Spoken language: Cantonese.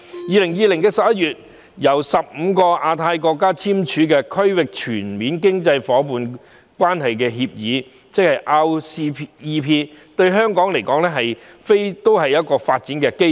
2020年11月，由15個亞太國家簽署的《區域全面經濟伙伴關係協定》，對香港來說亦是發展機遇。